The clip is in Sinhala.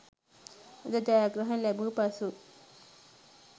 යුද ජයග්‍රහණ ලැබූ පසු